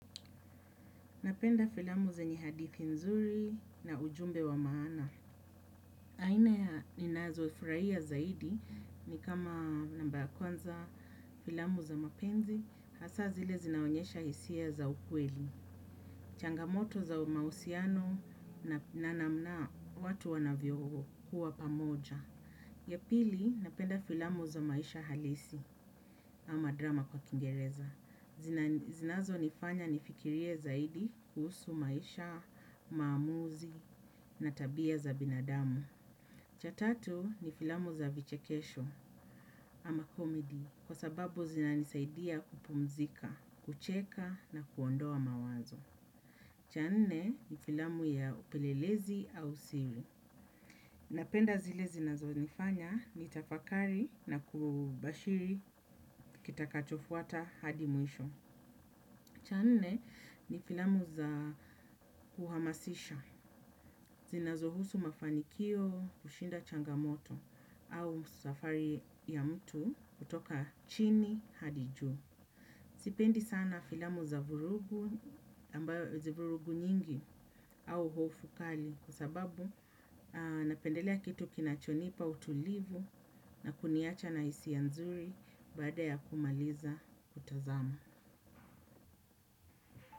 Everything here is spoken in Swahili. Napenda filamu zenye hadithi nzuri na ujumbe wa maana. Aina ya ninazofurahia zaidi ni kama namba ya kwanza filamu za mapenzi, hasa zile zinaonyesha hisia za ukweli. Changamoto za mahusiano na namna watu wanavyokuwa pamoja. Ya pili, napenda filamu za maisha halisi ama drama kwa kingereza. Zinazonifanya nifikirie zaidi kuhusu maisha, maamuzi na tabia za binadamu. Cha tatu ni filamu za vichekesho ama comedy kwa sababu zinanisaidia kupumzika, kucheka na kuondoa mawazo. Cha nne ni filamu ya upelelezi au siri. Napenda zile zinazonifanya nitafakari na kubashiri kitakachofuata hadi mwisho. Cha nne ni filamu za kuhamasisha zinazohusu mafanikio kushinda changamoto au safari ya mtu kutoka chini hadi juu. Sipendi sana filamu za vurugu ambayo vurugu nyingi au hofu kali kwa sababu napendelea kitu kinachonipa utulivu na kuniacha na hisia nzuri baada ya kumaliza kutazama.